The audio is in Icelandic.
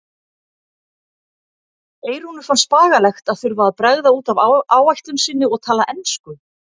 Eyrúnu fannst bagalegt að þurfa að bregða út af áætlun sinni og tala ensku.